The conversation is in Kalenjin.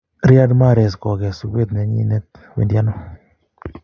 Riyad Mahrez kokess uet nenyinet, wendi ano?